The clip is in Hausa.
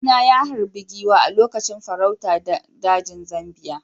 Kawuna ya harbi giwa a lokacin farauta a dajin Zambiya.